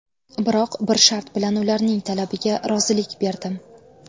Biroq bir shart bilan ularning talabiga rozilik berdim.